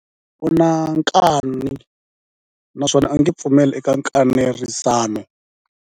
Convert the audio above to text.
U na nkani naswona a nge pfumeli eka nkanerisano.